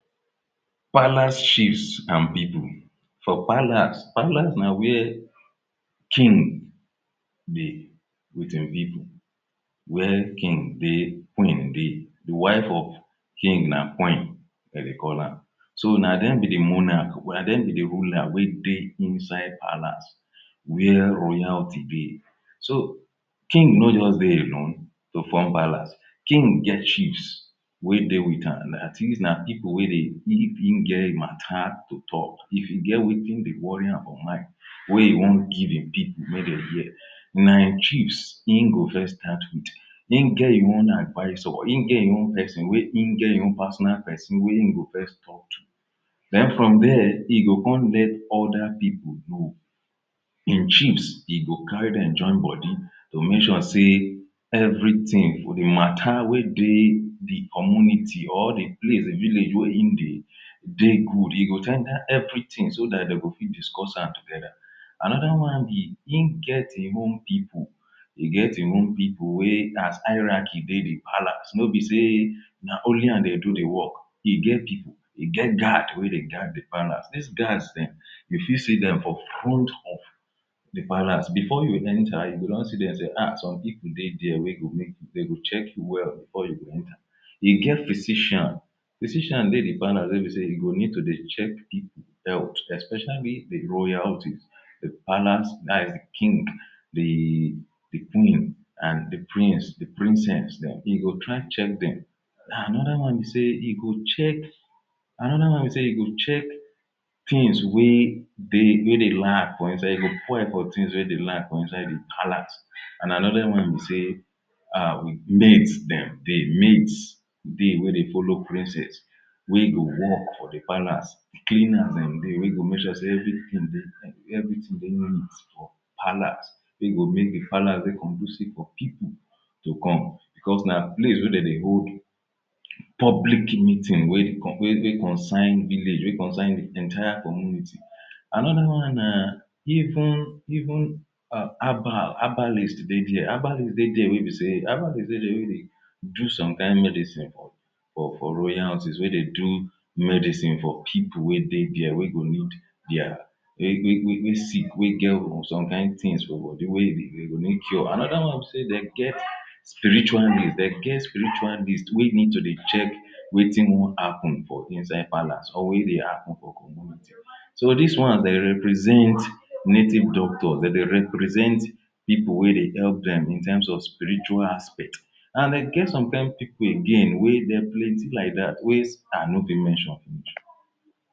Palace chiefs and people. For palace, palace na where king dey with im people, where king dey, queen dey. the wife of king na queen de dey call am. So na dem be the monarch, na dem be the ruler wey dey inside palace. where royalty dey. So King no just dey alone to form palace, king get chiefs wey dey with am and these na people wey dey hear him matter to talk, if e get wetin wey dey worry am for mind wey e wan give im people make dem hear. Na him chiefs e go first start with, e get im own advisor, e get im own person wey e get im own personal person wey e go first talk to. Then from there e go come let other people know im chiefs, e go carry dem join body to make sure sey everything- the mater wey dey the community or the place, village wey im dey dey good. E go ten der everything so that dem go fit discuss am together. Another one be, e get im own people e get im own people wey as hierarchy dey the palace, no be sey na only am dey do the work. E get people, e get guard wey dey guard the palace. These guards dem you fit see dem for front of the palace. Before you enter, you go don see them say um people dey dia wey go make, dem go check you well before you go enter. E get physician, physician dey the palace wey be sey e go need to dey check people health, especially the royalties; the palace that is the king, the queen and the prince, princess dem. E go try check dem Another one be sey e go check, another one be sey e go check things wey dey, wey dey lack for inside the palace And aother one be sey maids dem dey, maids dey wey dey follow the princess, wey go work for the palace Cleaners dem dey wey go make sure sey everything dey clean, everything dey neat palace wey go make the palace dey conducive for people to come because na place wey dem dey hold public meeting wey concern village, wey concern the entire commuinty. Another one na even even herbal herbalist dey dia. Herbalist dey dia wey be sey herbalist dey dia wey dey do some kain medicine for royalties wey dey do medicine for people wey dey there wey go need dia wey sick we get some kain things for body wey go need cure. Another one be sey dem get spiritualist. Dem get spiritualist wey need to dey check wetin wan happen for inside palace or wey dey happen for community. So these ones dey represent native doctors. Dem dey represent people wey dey help dem in terms of spiritual aspect and e get some kain people again wey dem plenty like that wey i no fit mention.